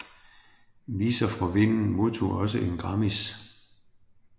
Visor frå vinden modtog også en Grammis